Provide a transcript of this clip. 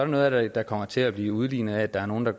noget af det der kommer til at blive udlignet af at der er nogle der